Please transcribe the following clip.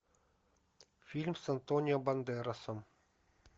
фильм с антонио бандеросом